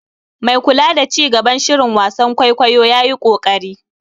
Mai kula da ci gaban shirin wasan kwaikwayo ya yi ƙoƙari.